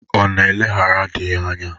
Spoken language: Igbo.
Ọ nara eleghara dị ya anya?